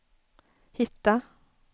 hitta